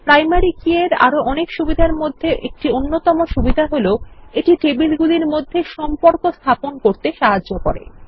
primary key এর আরো অনেক সুবিধার মধ্যে অন্যতম হল যে এটি টেবিলগুলির মধ্যে সম্পর্ক স্থাপন করতে সাহায্য করে